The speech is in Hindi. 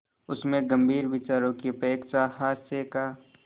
उसमें गंभीर विचारों की अपेक्षा हास्य का